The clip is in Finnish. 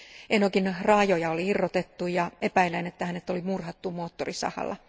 Enogin raajoja oli irrotettu, ja epäillään, että hänet oli murhattu moottorisahalla.